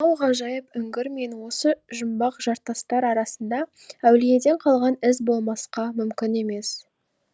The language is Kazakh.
мынау ғажайып үңгір мен осы жүмбақ жартастар арасында әулиеден қалған із болмасқа мүмкін емес